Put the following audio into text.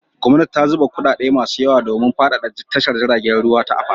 Gwamnati ta zuba kuɗaɗe masu yawa domin faɗaɗa tashar jiragen ruwa ta Apapa.